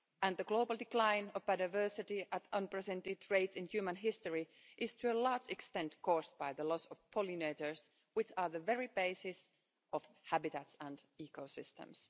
The global decline of biodiversity at unprecedented rates in human history is, to a large extent, caused by the loss of pollinators which are the very basis of habitats and ecosystems.